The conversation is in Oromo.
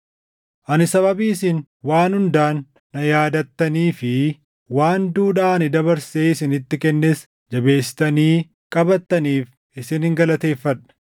Ani sababii isin waan hundaan na yaadattanii fi waan duudhaa ani dabarsee isinitti kennes jabeessitanii qabattaniif isinin galateeffadha.